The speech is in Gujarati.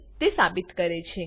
છે તે સાબિત કરે છે